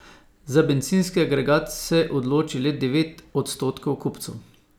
Za bencinski agregat se odloči le devet odstotkov kupcev.